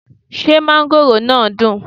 Ṣé mángóròò náà dùn?